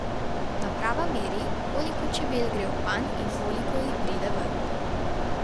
Naprava meri, koliko čebel gre v panj in koliko jih pride ven.